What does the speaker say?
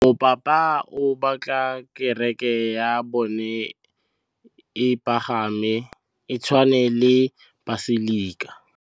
Mopapa o batla kereke ya bone e pagame, e tshwane le paselika.